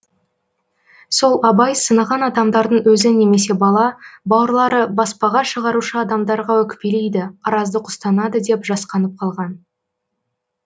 сол абай сынаған адамдардың өзі немесе бала бауырлары баспаға шығарушы адамдарға өкпелейді араздық ұстанады деп жасқанып қалған